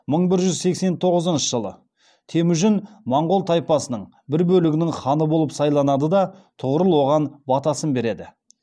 мың бір жүз сексен тоғызыншы жылы темүжін монғол тайпасының бір бөлігінің ханы болып сайланады да тұғырыл оған батасын береді